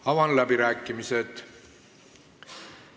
Avan läbirääkimised.